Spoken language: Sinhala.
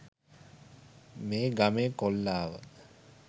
මේ ගමේ කොල්ලා ව